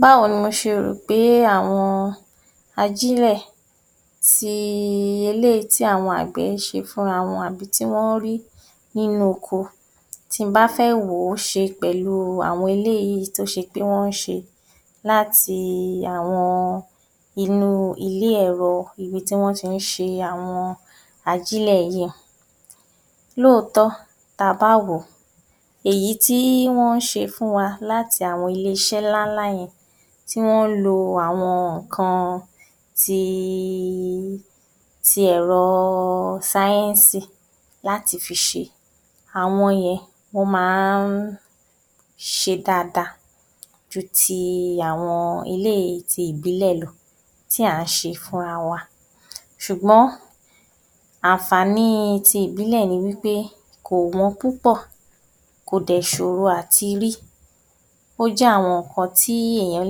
Báwo ni mo ṣe rò pé àwọn ajílẹ̀ ti eléyìí tí àwọn àgbẹ̀ ń ṣe fúnra wọn àbí tí wọ́n ń rí nínú oko, ti n bá fẹ́ wò ó ṣe pẹ̀lú àwọn eléyìí tó ṣe pé wọ́n ń ṣe láti àwọn inú ilé-ẹ̀rọ ibi tí wọ́n ti ń ṣe àwọn ajílẹ̀ yìí. Lóòótọ́, ta bá wò ó, èyí tí wọ́n ń ṣe fún wa láti àwọn ilé-iṣẹ́ ńlá ńlá yẹn, tí wọ́n ń lo àwọn ǹkan ti, ti ẹ̀rọ sáyẹ́ńsì láti fi ṣe, àwọn yẹn wọ́n máa ń ṣe dáadáa ju ti àwọn eléyìí ti ìbílẹ̀ lọ tí à ń ṣe fúnra wa. Ṣùgbọ́n àǹfààní ti ìbílẹ̀ ni wí pé kò wọ́n púpọ̀, kò dẹ̀ ṣòro àti rí. Ó jẹ́ àwọn ǹkan tí èèyàn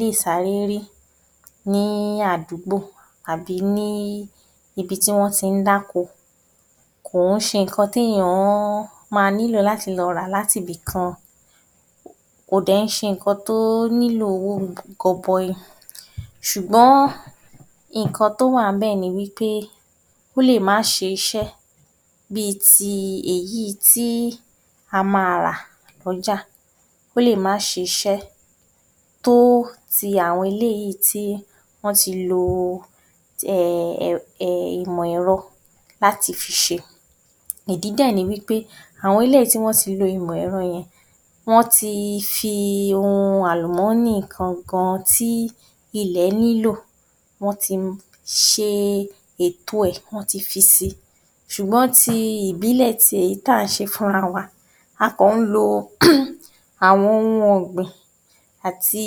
lè sáré rí ní àdúgbò s`bí ní ibi tí wọ́n ti ń dáko. Kò ń ṣe nǹkan téèyàn ma lọ rà láti ibìkan, kò dẹ̀ kìí ṣe nǹkan tó nílò owó gọbọi. Ṣùgbọ́n nǹkan tó wà ńbẹ̀ ni wí pé ó lè má ṣe iṣẹ́ bí ti èyí tí a máa rà lọ́jà, ó lè má ṣiṣẹ́ tó ti àwọn eléyìí tí wọ́n ti lo, um ìmọ̀ ẹ̀rọ láti fi ṣe. Ìdí dẹ̀ ni wí pé àwọn eléyìí tí wọ́n ti lo ìmọ̀ ẹ̀rọ yẹn, wọ́n ti fi ohun àlùmọ́nì gan gan tí ilẹ̀ nílò, wọ́n ti ṣe ètò ẹ̀, wọ́n ti fi si, ṣùgbọ́n ti ìbílẹ̀ tèyí tá ǹ ṣe fúnra wa, a kàn ń lo um àwọn ohun ọ̀gbìn àti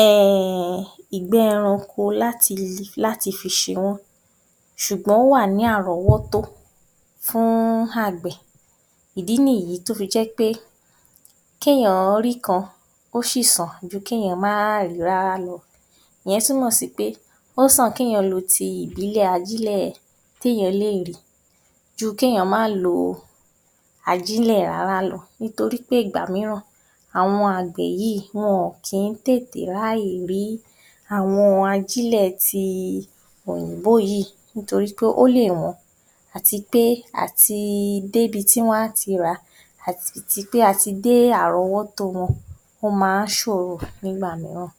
um ìgbẹ́ ẹranko láti fi ṣe wọ́n ṣùgbọ́n ó wà ní àrọ́wọ́tó fún àgbẹ̀. Ìdí nìyí tó fi jẹ́ pé kéèyàn rí kan ó ṣì sàn ju kéèyàn má rìí rárá lọ. Ìyẹn túmọ̀ sí pé ó sàn kéèyàn lo ti ìbílẹ̀ ajílẹ̀ téèyàn lè lò ju kéèyàn má lo ajílẹ̀ rárá lọ nítorí ìgbà mìíràn àwọn àgbẹ̀ yìí wọn kì í tètè ráàyè rí àwọn ajílẹ̀ ti òyìnbó yìí nítorí pé ó lè wọ́n àti pé àti débi tí wọ́n á ti rà á, àti ti pé àti dé àrọ́wọ́tó wọn, ó máa ń ṣòro nígbà mìíràn.